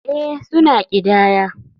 Ee, suna ƙidaya.